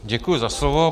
Děkuji za slovo.